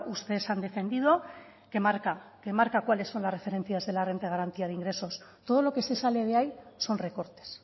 ustedes han defendido que marca que marca cuáles son las referencias de la renta de garantía de ingresos todo lo que se sale de ahí son recortes